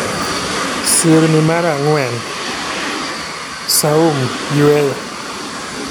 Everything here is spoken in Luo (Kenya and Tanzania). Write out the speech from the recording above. Sirni mar ang'wen: Sawm (Yueyo).